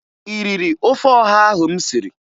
Ị riri ofe ọha ahụ m siri?